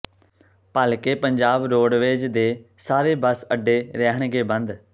ਭਲ਼ਕੇ Punjab roadways ਦੇ ਸਾਰੇ bus ਅੱਡੇ ਰਹਿਣਗੇ ਬੰਦ